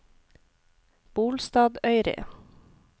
Bolstadøyri